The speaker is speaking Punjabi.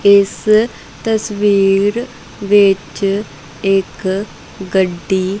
ਇਸ ਤਸਵੀਰ ਵਿੱਚ ਇੱਕ ਗੱਡੀ--